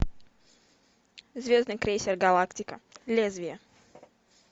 звездный крейсер галактика лезвие